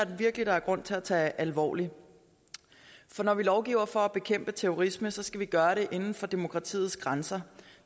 virkelig der er grund til at tage alvorligt for når vi lovgiver for at bekæmpe terrorisme skal vi gøre det inden for demokratiets grænser